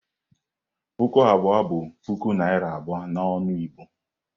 Puku abụọ bụ puku naira abụọ n'ọnụ Igbo.